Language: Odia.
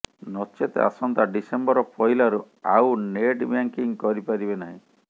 ନଚେତ ଆସନ୍ତା ଡିସେମ୍ବର ପହିଲାରୁ ଆଉ ନେଟ୍ ବ୍ୟାଙ୍କିଙ୍ଗ୍ କରିପାରିବେ ନାହିଁ